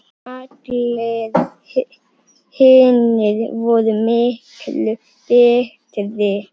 Allir hinir voru miklu betri.